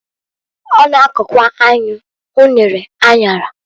O na-akokwa enyu, unere, anyara.